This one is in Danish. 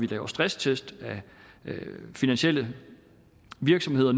laver stresstest af finansielle virksomheder